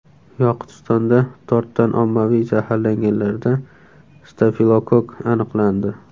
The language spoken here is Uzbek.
Yoqutistonda tortdan ommaviy zaharlanganlarda stafilokokk aniqlandi.